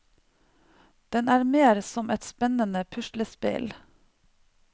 Den er mer som et spennende puslespill.